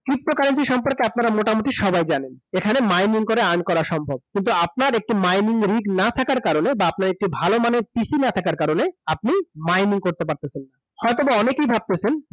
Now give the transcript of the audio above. সম্পর্কে আপনারা মোটামুটি সবাই জানেন । এখানে mining করে earn করা সম্ভব । কিন্তু আপনার একটি mining না থাকার কারণে বা আপনার একটি ভাল মানের PC না থাকার কারণে, আপনি mining করতে পারতেসেন না । হয়তোবা অনেকেই ভাবতেছেন